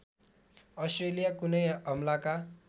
Australia कुनै हमलाका